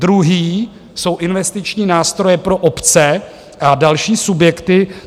Druhý jsou investiční nástroje pro obce a další subjekty.